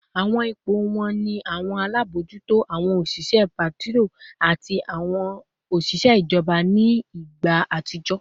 Awọn ipo wọn ni awọn alabojuto, awọn oṣiṣẹ patrol, ati oṣiṣẹ ijọba ni igba atijọ